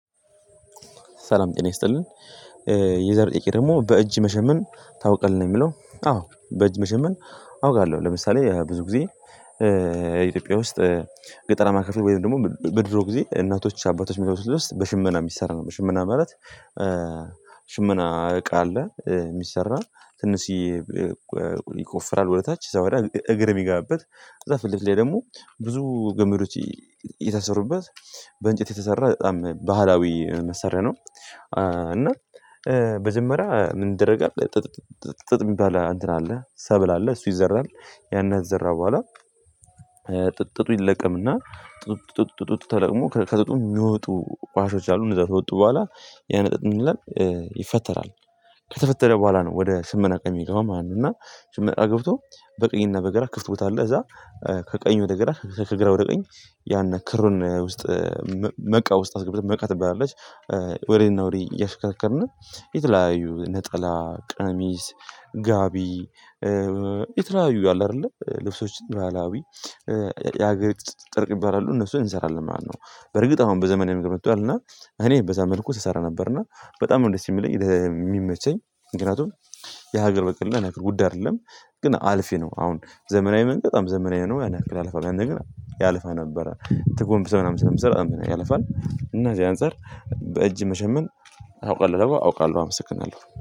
ሰላም ጤና ይስጥልን። የዛሬ ይሄ ደግሞ በእጅ መሸመን ታውቃለህ ነው የሚለው? አዎ በእጅ መሸመን አውቃለሁ። ለምሳሌ ብዙ ጊዜ ኢትዮጵያ ውስጥ ገጠራማ ክፍል ወይም ደግሞ በድሮ ጊዜ እናቶች አባቶች የሚለብሱት ልብስ በሽመና የሚሰራ ነው በሽመና ማለት ሽመና እቃ አለ የሚሰራ ትንሽየ ይቆፍራል ወደ ታች እዛ ወዲያ እግር ሚገጋብት ከዛ ፍልትለፊት ላይ ደግሞ ብዙ ገምዶች የታሰሩበት በእንጨት የተሰራ በጣም ባህላዊ መሳርያ ነው። እና በጀመሪያ ደረጃ ምን ይደረጋል ጥጥ ጥጥ ጥጥ የሚባል አንትን አለ ሰብል አለ እሱ ይዘራል ያንን ዘራ በኋላ። ጥጡ ይለቀምና ጥጡ ተለቅሞ ከጥጡ የሚወጡ ኳሶች አሉ እነዛ ከወጡ በኋላ ያንጥጥ ምን ይላል ይፈተራል ከተፈተረ በኋላ ነው ወደ ሽመና እቃ የሚገባው ማለት ነው። እና ሽመና ገብቶ በቀኝ እና በግራ ክፍት ቦታ አለ እዛ ከቀኝ ወደ ግራ ከግራ ወደ ቀኝ ያን ክሩን ውስጥ መቃ ውስጥ አስገብተን መቃ ትባላለች ወዲያ እና ወዲያ እያሽከርከርን የተለያዩ ነጠላ ቀሚስ ጋቢ የተለያዩ አለ አይደለ ልብሶች ባህላዊ የሀገሪቱ ጥለት ይባላሉ እነሱ እንሰራለን ማለት ነው። በርግጥ አሁን በዘመናዊ ምንገድ መጧልና እኔ በዛ መልኩ ስሰራ ነበርና በጣም ነው ደስ የሚለኝ የሚመቸኝ ምክንያቱም የሀገር በቀል ላይ ነገር ጉዳይ አይደለም። ግን አልፌ ነው አሁን ዘመናዊ መንገድ በጣም ዘመናዊ ነው ያን ያክል አያለፋም ያንን ግን ያለፋ ነበረ ተጎምብሰህ ነው ምስራው ያለፋል እና ከዚያ አንፃር። በእጅ መሸመን አውቃለሁ አውቃለሁ አመስግናለሁ